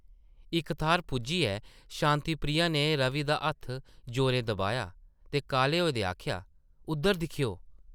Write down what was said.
इक थाह्र पुज्जियै शांति प्रिया नै रवि दा हत्थ जोरें दबाया ते काह्ले होए दे आखेआ, ‘‘उद्धर दिक्खेओ ।’’